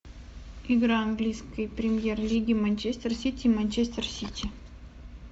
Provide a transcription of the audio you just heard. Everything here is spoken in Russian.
игра английской премьер лиги манчестер сити манчестер сити